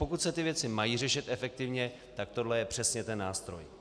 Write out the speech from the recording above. Pokud se ty věci mají řešit efektivně, tak tohle je přesně ten nástroj.